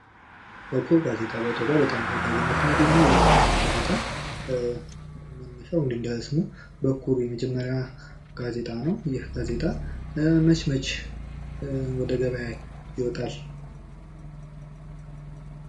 በኩር ጋዜጣ በኢትዮጵያ በጣም ተወዳጅነትን ያገኘው ጋዜጣው መነሻው እንደ ስሙ በኩር የመጀመሪያ ጋዜጣ ነው። መች መች ወደ ገበያ ይወጣል?